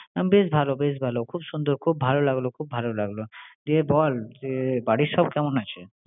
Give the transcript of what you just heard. বেশ ভালো বেশ ভালো। খুব সুন্দর। খুব ভালো লাগলো খুব ভালো লাগলো। বল বাড়ির সব কেমন আছে?